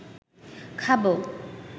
খাবো